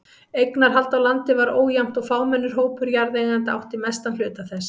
Eignarhald á landi var ójafnt og fámennur hópur jarðeigenda átti mestan hluta þess.